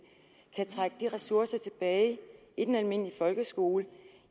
kan trække de ressourcer tilbage i den almindelige folkeskole